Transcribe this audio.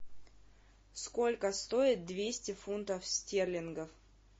сколько стоит двести фунтов стерлингов